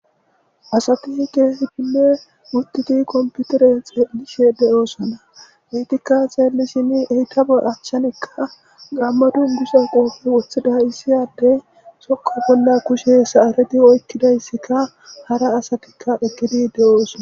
asati keesi dile mutiti komputere xeelishe de7oosona eytikka xeelisini eytabe achchanikka gamma dundusa qoofi woththida issiyade sokka bolla kushe saareti oykkidayssika hara asatikka ekkidi de7oosona